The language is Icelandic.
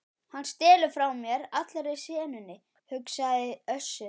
Hann stelur frá mér allri senunni, hugsaði Össur.